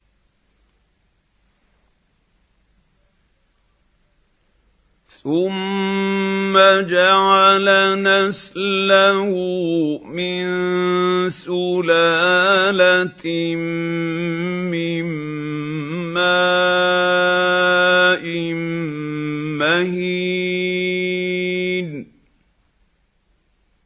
ثُمَّ جَعَلَ نَسْلَهُ مِن سُلَالَةٍ مِّن مَّاءٍ مَّهِينٍ